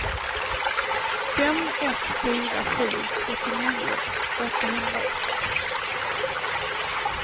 fem ett fyra sju trettionio åttahundraett